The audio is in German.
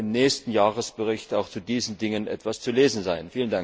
Es wird dann im nächsten Jahresbericht auch zu diesen Dingen etwas zu lesen sein.